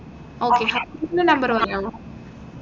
okay husband ന്റെ number പറഞ്ഞോളൂ